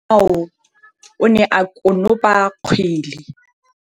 Motshameki wa kgwele ya dinaô o ne a konopa kgwele.